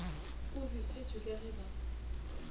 o befetšwe ka ge ba